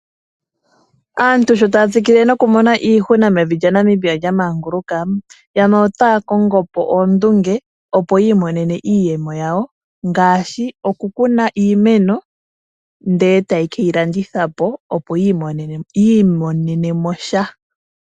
Aantu sho taya tsikile noku mona iihuna mevi lyaNamibia lyamanguluka, yamwe otaya kongo po oondunge opo yi i monena iiyemo yawo ngaashi okukuna iimeno ndele etaye keyi landitha po opo yi i monene mo sha.